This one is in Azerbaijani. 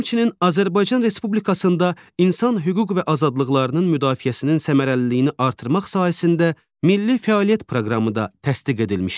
Həmçinin Azərbaycan Respublikasında insan hüquq və azadlıqlarının müdafiəsinin səmərəliliyini artırmaq sahəsində milli fəaliyyət proqramı da təsdiq edilmişdir.